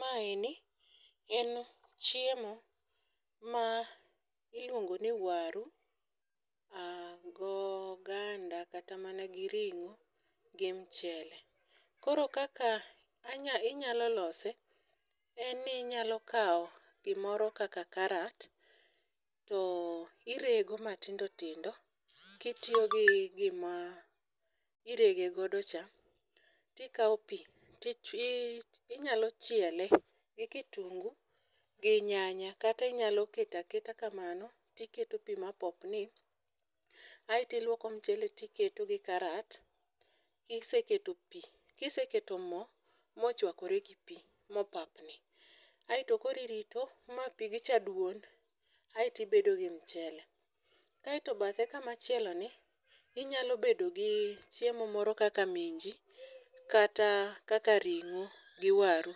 Maeni en chiemo ma iluongo ni waru go ganda kata mana gi ring'o gi mchele. Koro kaka anya inyalo lose en ni inyalo kawo gimoro kaka karat to irego matindo tindo kitiyo gi gima irege godo cha tikawo pii tii inyalo chiele gi kitungu gi nyanya kata inyalo ketaketa kamano tiketo pii mapopni. Aeto iluoko mchele tiketo gi karat kiseketo pii kiseket moo mochwakore gi pii mopapni aeto koro irito ma pigcha duon aeto iebo gi mchele . Aeto bathe kumachielo ni ninyalo bedo gi chiemo moro kaka minji kata kakakwar kata ringi to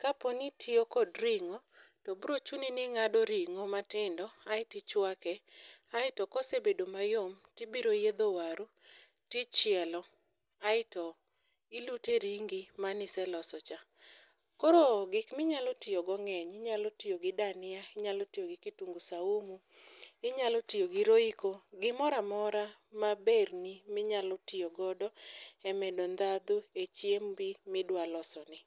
kapni itiyo kod ring'o to bro chuni ni ing'ado ring'o matindo tindo aeti chwake. Aeto kosebedo mayom tibiro yiedho waru tichielo aeto ilute ringi maniseloso cha. Koro gik minyalo tiyo go ng'eny inyalo tiyo gi dania inyalo tiyo gi kitungu samumu inyalo tiyo gi royco, gimoramora maber ni minyalo tiyo godo e medo ndhadhu e chiembi midwa loso ni.